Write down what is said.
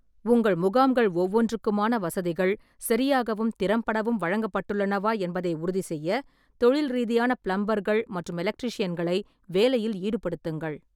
உங்கள் முகாம்கள் ஒவ்வொன்றுக்குமான வசதிகள் சரியாகவும் திறம்படவும் வழங்கப்பட்டுள்ளனவா என்பதை உறுதிசெய்ய தொழில் ரீதியான பிளம்பர்கள் மற்றும் எலக்ட்ரீஷியன்களை வேலையில் ஈடுபடுத்துங்கள்.